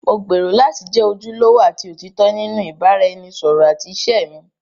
Mo gbèrò láti jẹ́ ojúlówó àti òtítọ́ nínú ìbáraẹnisọ̀rọ̀ àti ìṣe mi.